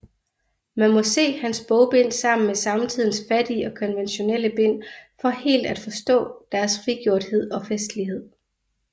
Man må se hans bogbind sammen med samtidens fattige og konventionelle bind for helt at forstå deres frigjorthed og festlighed